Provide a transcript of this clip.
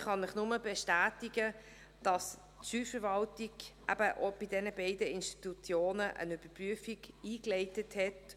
Ich kann Ihnen nur bestätigen, dass die Steuerverwaltung auch bei diesen beiden Institutionen eine Überprüfung eingeleitet hat.